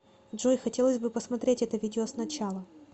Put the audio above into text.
джой хотелось бы посмотреть это видео сначала